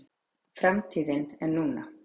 Framtíðin er núna.